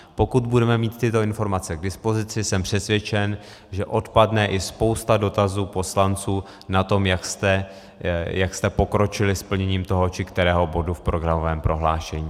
Pokud budeme mít tyto informace k dispozici, jsem přesvědčen, že odpadne i spousta dotazů poslanců na to, jak jste pokročili s plněním toho či kterého bodu v programovém prohlášení.